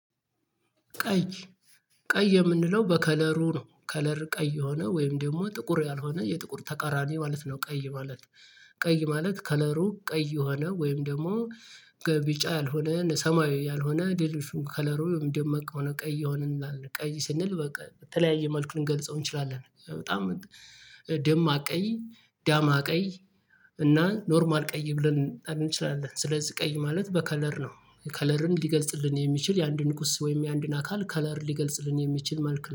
ቀይ ቀይ የምንለው በከለሩ ነው ከለር ቀይ የሆነ ወይም ደግሞ ጥቁር ያልሆነ የጥቁር ተቃራኒ ማለት ነው። ቀይ ማለት ቀይ ማለት ከለሩ ቀይ የሆነ ወይም ደግሞ በ ቢጫ ያልሆነ ሰማያዊ ያልሆነ ዴሊሹ ከለሩ ደማቅ ከሆነ ቀይ የሆነን ቀይ ስንል በቃ በተለያየ መልኩ ልንገልጸው እንችላለን። በጣም ደማቅ ቀይ ዳማ ቀይ እና ኖርማል ቀይ ብለን እንችላለን። ስለዚህ ቀይ ማለት በከለር ነው። ከለርን ሊገልጽልን የሚችል የአንድን ቁስ ወይም የአንድን አካል ከለር ሊገልጽልን የሚችል መልኩ